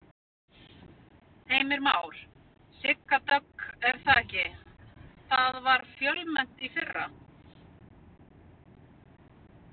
Heimir Már: Sigga Dögg er það ekki, það var fjölmennt í fyrra?